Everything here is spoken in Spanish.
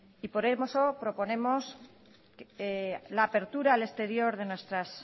y por eso proponemos